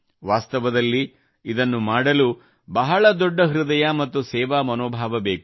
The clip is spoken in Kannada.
ವಾಸ್ತವದಲ್ಲಿ ಇದನ್ನು ಮಾಡಲು ಬಹಳ ದೊಡ್ಡ ಹೃದಯ ಮತ್ತು ಸೇವಾಮನೋಭಾವ ಬೇಕು